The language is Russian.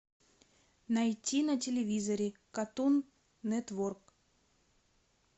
найти на телевизоре картун нетворк